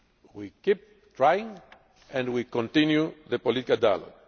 We keep trying and we continue the political dialogue.